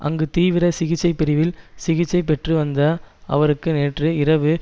அங்கு தீவிர சிகிச்சை பிரிவில் சிகிச்சை பெற்று வந்த அவருக்கு நேற்று இரவு